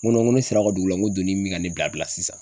N ko n ko ne sera a ka dugu la, n ko donni be ka ne bila bila sisan.